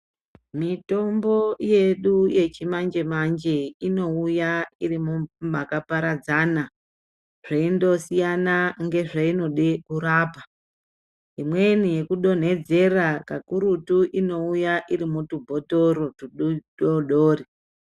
Mitombol yedu yechimanje-manje inouya iri makaparadzana zveindosiyana ngezveinode kurapa. Imweni yekudonhedzera kakurutu inouya iri mutubhotoro tudododri.